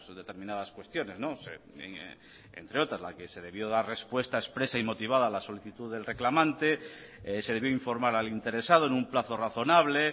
determinadas cuestiones entre otras la que se debió dar respuesta expresa y motivada a la solicitud del reclamante se debió informar al interesado en un plazo razonable